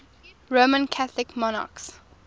roman catholic monarchs